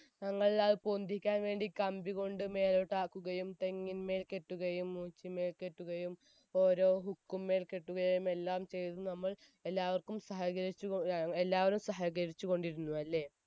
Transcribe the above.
ഞങ്ങൾ അത് പൊന്തിക്കാൻ വേണ്ടി കമ്പികൊണ്ട് മേലോട്ടാകുകുകയും തെങ്ങുമ്മേൽ കെട്ടുകയും മൂച്ചിന്മേൽ കെട്ടുകയും ഓരോ hook ക്കുമേൽ കെട്ടുകയും എല്ലാം ചെയ്തു നമ്മൾ എല്ലാവർക്കും സഹകരിച്ച് എല്ലാവരും സഹകരിച്ച് കോടിരുന്നുവല്ലേ